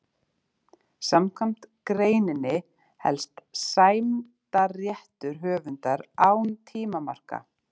Samkvæmt greininni helst sæmdarréttur höfundar án tímamarka.